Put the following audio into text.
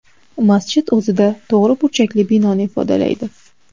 Masjid o‘zida to‘g‘ri burchakli binoni ifodalaydi.